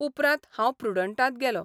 उपरांत हांव प्रुडण्टांत गेलों.